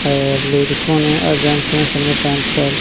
और लेडीसो ने अ जेंट्स ने सबने पैंट शर्ट --